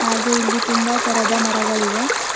ಹಾಗೆ ಇಲ್ಲಿ ತುಂಬಾ ತರದ ಮರಗಳಿವೆ.